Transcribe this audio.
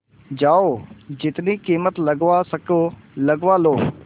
जाओ जितनी कीमत लगवा सको लगवा लो